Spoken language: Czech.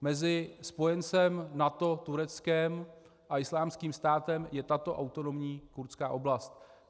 Mezi spojencem NATO Tureckem a Islámským státem je tato autonomní kurdská oblast.